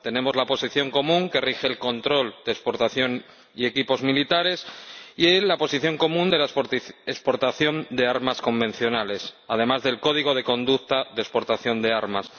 Tenemos la Posición Común que rige el control de las exportaciones de equipos militares y la Posición Común sobre la exportación de armas convencionales, además del Código de Conducta en materia de exportación de armas.